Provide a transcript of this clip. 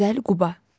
Gözəl Quba.